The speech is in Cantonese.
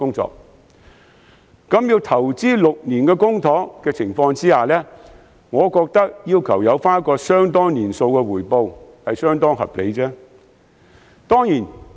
在需要投資6年公帑的情況下，我認為要求有一個相當年數的回報是相當合理的。